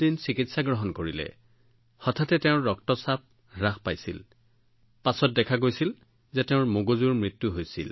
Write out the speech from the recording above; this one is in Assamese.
তাৰ পিছত পৰ্যৱেক্ষণটো ঠিকেই আছিল কিন্তু হঠাতে তেওঁৰ ৰক্তচাপ যথেষ্ট হ্ৰাস পাইছিল তাৰ পিছত আমি গম পাইছিলো যে তেওঁৰ মগজুৰ মৃত্যু হবলৈ ধৰিছিল